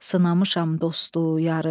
Sınamışam dostu, yarı.